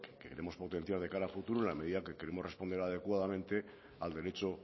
que queremos potenciar de cara al futuro en la medida que queremos responder adecuadamente al derecho